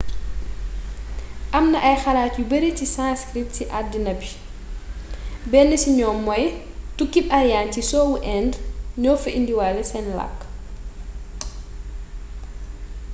amna ay xalaat yu bari si sanskrit si aduna bi benn si ñoom moy tukkib aryan ci soowu inde ño fa indiwale sen lakk